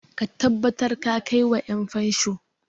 Ka tabbatar da ka kai wa 'yanfansho!